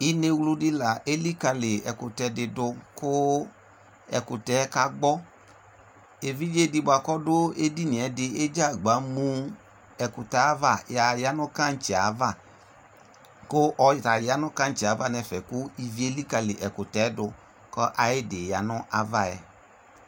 inɛwlʋ di la ɛlikali ɛkʋtɛ di dʋ kʋ ɛkʋtɛ ka gbɔ, ɛvidzɛ di bʋa kʋ ɔdʋ ɛdiniɛ di ɛdzagba mʋ ɛkʋtɛ aɣa aya nʋ kankyiɛ aɣa kʋ ɔta yanʋ kankyiɛ aɣa nʋ ɛƒɛ kʋ iviɛ ɛlikali ɛkʋtɛ dʋ kʋ ayidi yanʋ aɣaɛ